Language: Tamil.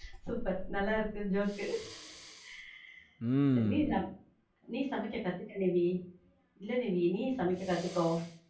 super நல்லா இருக்கு joke க்கு. சரி நீ, சமைக்க கத்துக்க நிவி. இல்ல நிவி, நீ சமைக்க கத்துக்கோ.